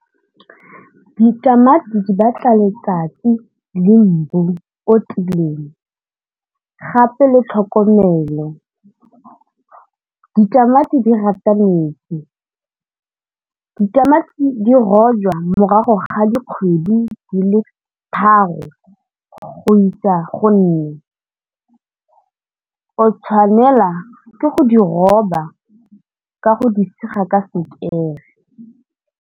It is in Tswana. Ditamati di batla letsatsi le mbu o tiileng gape le tlhokomelo, ditamati di rata metsi ditamati di rojwa morago ga dikgwedi di le tharo go isa go nne o tshwanela ke go di roba ka go di sega ka sekere.